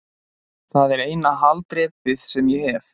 Það er eina haldreipið sem ég hef.